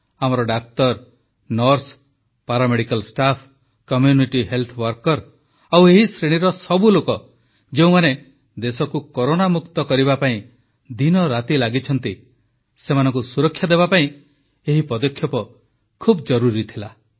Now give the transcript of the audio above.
ଆମର ଡାକ୍ତର nurse paramedical staff community health worker ଆଉ ଏହି ଶ୍ରେଣୀର ସବୁଲୋକ ଯେଉଁମାନେ ଦେଶକୁ କରୋନାମୁକ୍ତ କରିବାପାଇଁ ଦିନରାତି ଲାଗିଛନ୍ତି ସେମାନଙ୍କୁ ସୁରକ୍ଷା ଦେବାପାଇଁ ଏହି ପଦକ୍ଷେପ ବହୁତ ଜରୁରି ଥିଲା